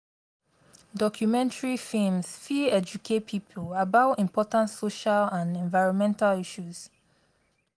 documentary films fit educate people about important social and environmental issues.